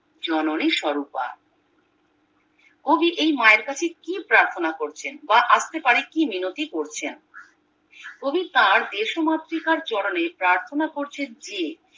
জননী স্বরূপা কবি এই মায়ের কাছে কি প্রার্থনা করছেন বা আস্তে পারে কি মিনতি করছেন কবি তার দেশমাতৃকার চরণে প্রার্থনা করছেন যে